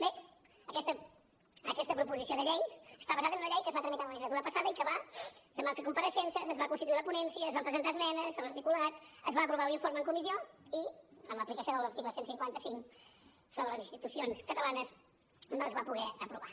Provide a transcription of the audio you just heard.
bé aquesta proposició de llei està basada en una llei que es va tramitar la legislatura passada i que se’n van fer compareixences es va constituir la ponència es van presentar esmenes a l’articulat es va aprovar un informe en comissió i amb l’aplicació de l’article cent i cinquanta cinc sobre les institucions catalanes no es va poder aprovar